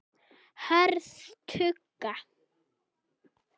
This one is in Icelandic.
Hörð tugga.